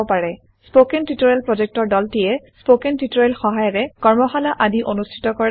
কথন শিক্ষণ প্ৰকল্পৰ দলটিয়ে কথন শিক্ষণ সহায়িকাৰে কৰ্মশালা আদি অনুষ্ঠিত কৰে